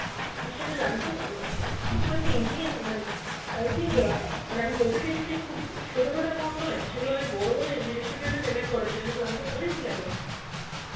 আর সেটা lump sum um খুব একটা easy উম মানে, I think মানে আমি বলতে চাইছি যে খুব ছোট খাটো amount নয় সে গুলো অনেক বড় বড় institute এ করা ছিল সেগুলো lump sum অনেকগুলো amount